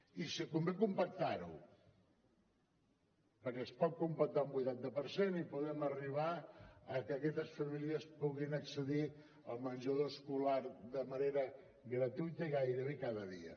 i si convé compactar ho perquè es pot compactar un vuitanta per cent i podem arribar a que aquestes famílies puguin accedir al menjador escolar de manera gratuïta i gairebé cada dia